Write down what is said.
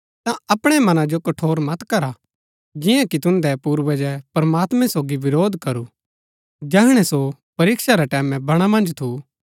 ता अपणै मनां जो कठोर मत करा जिआं कि तुन्दै पूर्वजै प्रमात्मैं सोगी विरोध करू जैहणै सो परीक्षा रै टैमैं बणा मन्ज थू